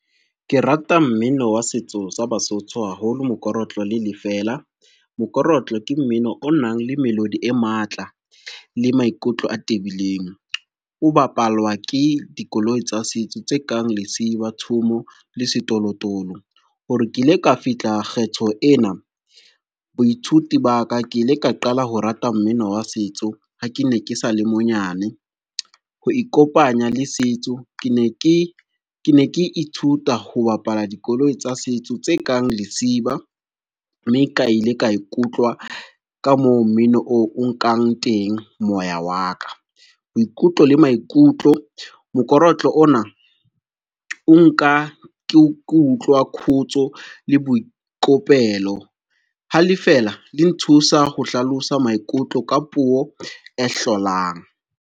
Ke rata mmino wa setso sa Basotho haholo, mokorotlo le lefela. Mokorotlo ke mmino o nang le melodi e matla le maikutlo a tebileng, o bapalwa ke dikoloi tsa setso tse kang lesiba, thomo le setolotolo. Hore ke ile ka fihla kgetho ena boithuti ba ka, ke ile ka qala ho rata mmino wa setso ha ke ne ke sale monyane. Ho ikopanya le setso ke ne ke ithuta ho bapala dikoloi tsa setso tse kang lesiba, mme ka ile ka ikutlwa ka moo mmino oo o nkang teng moya wa ka, boikutlo le maikutlo. Mokorotlo ona o nka ke utlwa khutso le boikopelo ha lefeela le nthusa ho hlalosa maikutlo ka puo e hlolang.